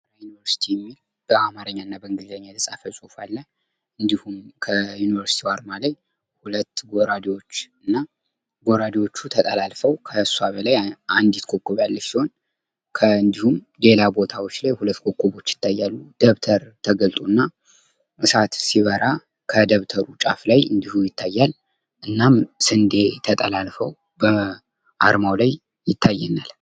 ሰመራ ዩኒቨርስቲ የሚል በአማርኛ እና በእንግሊዝኛ የተጻፈ ጽሑፍ አለ እንድሁም በአርማው ላይ ሁለት ጎራደዎች እና ጎራደዎቹ ተጠላልፈው ከሷ በላይ አንድት ኮከብ ያለች ሲሆን እንድሁም ሌላ ቦታዎች ላይ ሁለት ኮከቦች ይታያሉ። ደብተር ተገልጦ እና እሳት ሲበራ ከደብተሩ ጫፍ ላይ እንድሁም ይታያል። እናም ስንደ ተጠላልፎ በአርማው ላይ ይታየናል።